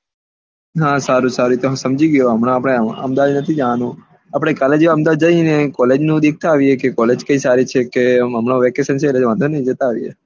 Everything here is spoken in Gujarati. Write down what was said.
હા સારું સારું હું સમજી ગયો હમણા આપને અહમદાવાદ નથી જવાનું આપને જો કાલે અહમદાવાદ જઈને college જોતા આવીએ કે college સારી છે કે હમના vacation છે એટલે કોઈ વાંધો નહિ જતા આવીએ